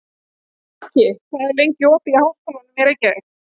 Haki, hvað er lengi opið í Háskólanum í Reykjavík?